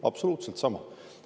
Absoluutselt sama!